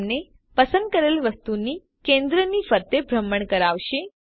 આ તમને પસંદ કરેલ વસ્તુ ની કેન્દ્રની ફરતે ભ્રમણ કરાવશે